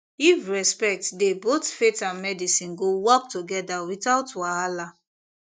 if respect dey both faith and medicine go work together without wahala